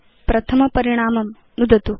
प्रथम परिणामं नुदतु